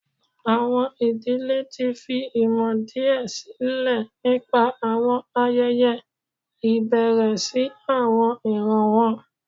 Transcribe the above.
Awọn idile ti fi imọ diẹ silẹ nipa awọn ayẹyẹ ibẹrẹ si awọn iran wọn.